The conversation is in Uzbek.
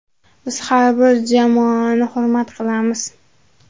Biz har bir jamoani hurmat qilamiz.